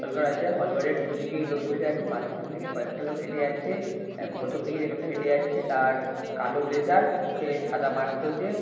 হল ঘর আছে। হল ঘরের দুদিকেই লোক বসে আছে। মাঝখান থেকে কয়েকটা লোক হেটে যাচ্ছে। প্রথম দিকে যে লোকটা হেটে যাচ্ছে তার কালো ব্লেজার মুখে সাদা মাস্ক রয়েছে।